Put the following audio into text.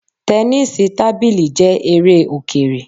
Tẹnísíì tábìlì jẹ́ eré Òkèrè